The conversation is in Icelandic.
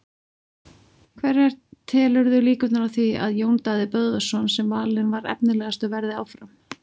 Hverja telurðu líkurnar á því að Jón Daði Böðvarsson sem valinn var efnilegastur verði áfram?